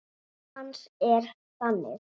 Upphaf hans er þannig